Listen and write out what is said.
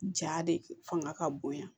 Ja de fanga ka bonya